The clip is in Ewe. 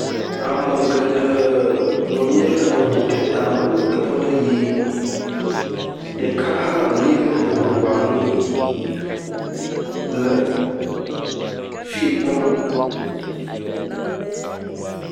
Ame geɖe nɔ anyi ɖe ŋu aɖe tame le teƒe ɖe yim. Ɖeka hã lɛ̃ ɖe ŋua ŋu le fi kpɔm.